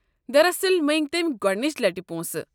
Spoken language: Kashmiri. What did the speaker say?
دراصل، مٔنگۍ تٔمۍ گۄڑنِچہِ لٹہِ پونٛسہٕ۔